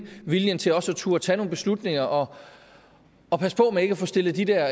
viljen til også at turde tage nogle beslutninger og og passe på med ikke at få stillet de der